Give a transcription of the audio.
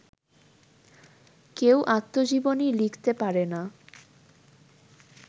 কেউ আত্মজীবনী লিখতে পারে না